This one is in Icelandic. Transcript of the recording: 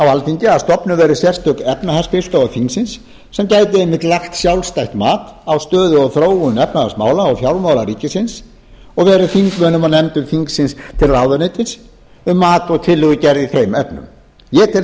alþingi að stofnuð verði sérstök efnahagsskrifstofa þingsins sem gæti einmitt lagt sjálfstætt mat á stöðu og þróun efnahagsmála og fjármála ríkisins og verið þingmönnum og nefndum þingsins til ráðuneytis um mat og tillögugerð í þeim efnum ég tel